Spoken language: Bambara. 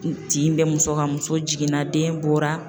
Tin bɛ muso kan, muso jiginna den bɔra